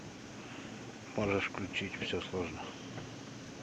можешь включить все сложно